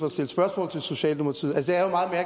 at stille spørgsmål til socialdemokratiet altså